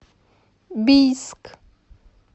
бийск